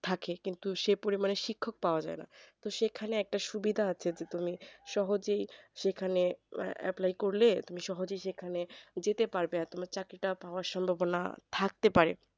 থাকে কিন্তু সেই পরিমান এ শিক্ষক পাওয়া যায়না তো সেখানে একটা সুবিধা আছে তো তুমি সহজেই সেখানে apply করলে তুমি সহজেই সেখানে যেতে পারবে আর তোমার চাকরিটা তোমার পাওয়ার সম্ভাবনা থাকতে পারে